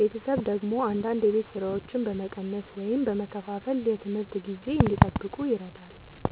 ቤተሰብ ደግሞ አንዳንድ የቤት ሥራዎችን በመቀነስ ወይም በመከፋፈል የትምህርት ጊዜ እንዲጠብቁ ይረዳል።